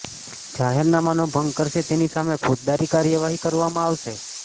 જાહેરનામાનો ભંગ કરશે તેની સામે ફોજદારી કાર્યવાહી કરવામાં આવશે